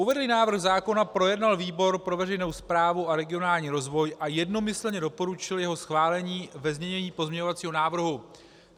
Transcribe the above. Uvedený návrh zákona projednal výbor pro veřejnou správu a regionální rozvoj a jednomyslně doporučil jeho schválení ve znění pozměňovacího návrhu.